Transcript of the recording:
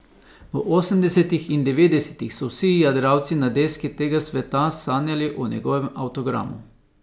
V osemdesetih in devetdesetih so vsi jadralci na deski tega sveta sanjali o njegovem avtogramu.